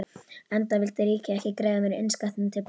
Enda vildi ríkið ekki greiða mér innskattinn til baka.